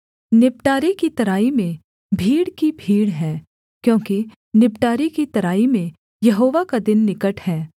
निबटारे की तराई में भीड़ की भीड़ है क्योंकि निबटारे की तराई में यहोवा का दिन निकट है